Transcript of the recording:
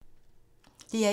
DR1